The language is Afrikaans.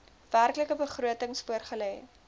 werklike begrotings voorgelê